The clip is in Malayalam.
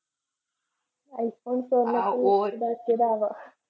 ഐഫോൺ സ്വർണ്ണത്തിൽ മുക്കി ആണ്.